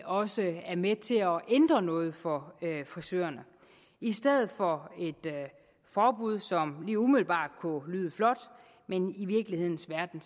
også er med til at ændre noget for frisørerne i stedet for et forbud som lige umiddelbart kunne lyde flot men i virkelighedens verden